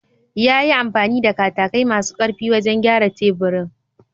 Yayi amfani da katakai masu ƙarfi wajen gyara teburin.